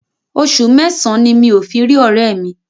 Oṣù mẹ́sàn-án mi ò fi rí ọ̀rẹ́ẹ̀ mi.